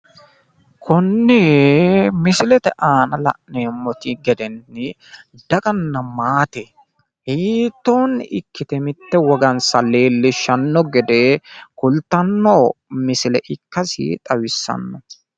Konni misilete aana la'neemonte gede daganna maate hiitoonni ikkite mitte wogansa leellishanno gede kultanno misile ikkasi xawissanno.